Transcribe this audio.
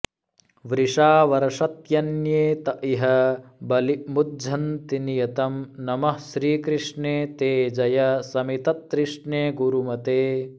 वृषा वर्षत्यन्ये त इह बलिमुझ्झन्ति नियतं नमः श्रीकृष्णे ते जय शमिततृष्णे गुरुमते